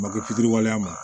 Make fitiriwaleya ma